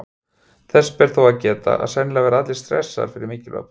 Þess ber þó að geta að sennilega verða allir stressaðir fyrir mikilvæg próf.